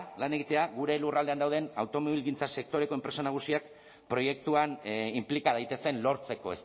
lan egitea gure lurraldean dauden automobilgintza sektoreko enpresa nagusiak proiektuan inplika daitezen lortzeko